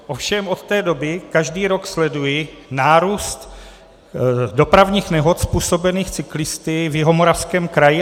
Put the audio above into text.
Ovšem od té doby každý rok sleduji nárůst dopravních nehod způsobených cyklisty v Jihomoravském kraji.